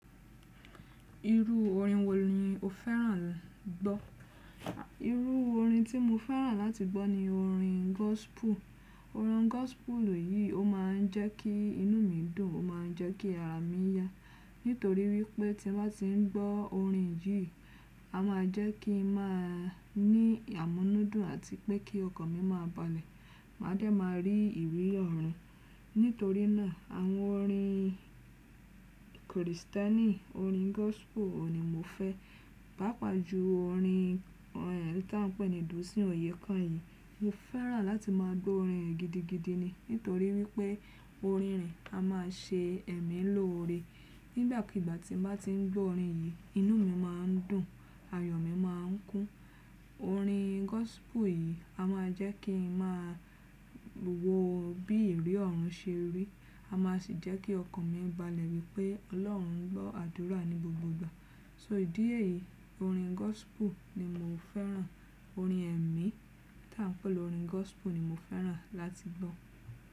Irú orin wò ni o fẹ́ràn gbọ́? Irú orin tí mo fẹ́ràn láti gbọ́ ni orin gospel. Orin gospel yìí ó máa ń jẹ́ kí inú mi dùn, ó máa ń jẹ́ kí ara mi yá. Nítorí wípé tí mo bá ti ń gbọ́ orin yìí, a máa jẹ́ kí ń máa ní àmúnúdùn àti pé kí ọkàn mi máa balẹ̀. Màá dẹ́ máa rí ìwé ọ̀run. Nítorí náà àwọn orin Krìstẹ́nì, orin gospel ni mo fẹ́. Paapàjùú orin eni tí à ń pè ní Dùnsìn Oyekán yì, mo fẹ́ràn láti máa gbọ́ orin rẹ̀ gidigidi ni. Nítorí wípé orin rẹ̀ a máa ṣe ẹ̀mí lọ́ore. Nígbàkúgbà tí mo bá ti ń gbọ́ orin yìí, inú mi má ń dùn, ayọ̀ mi má ń kún. Orin gospel yìí a máa jẹ́ kí ń máa wo bí ìrí ọ̀run ṣe rí. A máa sì jẹ́ kí ọkàn mi balẹ̀ wípé Ọlọ́run ń gbọ́ àdúrà ni gbogbogbò. So ìdí èyí, orin gospel ni mo fẹ́ràn. Orin ẹ̀mí tí à ń pè lorin gospel ni mo fẹ́ràn láti gbọ́.